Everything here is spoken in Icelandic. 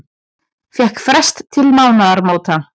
Fékk frest til mánaðamóta